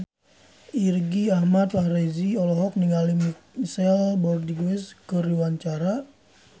Irgi Ahmad Fahrezi olohok ningali Michelle Rodriguez keur diwawancara